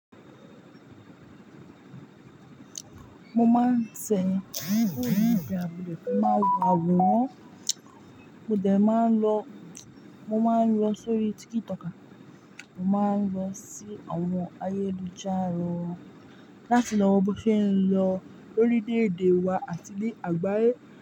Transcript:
Mo máa ń ṣẹ̀yin orí ìgbà wo ni kí n máa wọ àwòrán, mo dẹ̀ máa ń lọ, mo máa ń lọ sórí tíkítọ̀kà, mo máa ń lọ sí àwọn ayélujára láti lọ wo bí wọ́n ṣe ń lọ lórí léédé wa àti nì àgbáyé.